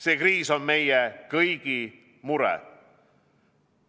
See kriis on meie kõigi mure.